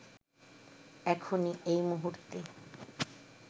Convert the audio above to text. এখনই, এই মুহূর্তে